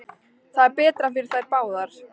Það er betra fyrir þær báðar.